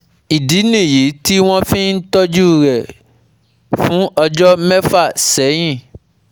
Ìdí nìyí tí wọ́n fi ń tọ́jú rẹ̀ fún ọjọ́ mẹ́fà sẹ́yìn